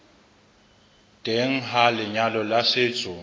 teng ha lenyalo la setso